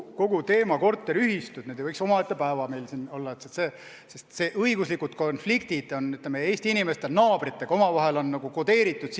Kogu teema "Korteriühistud" võiks omaette päevateema siin olla, sest õiguslikud konfliktid naabritega on Eesti inimestele nagu sisse kodeeritud.